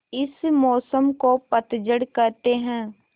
इस मौसम को पतझड़ कहते हैं